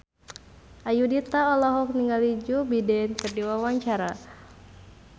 Ayudhita olohok ningali Joe Biden keur diwawancara